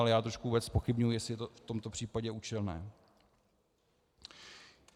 Ale já trošku vůbec zpochybňuji, jestli je to v tomto případě účelné.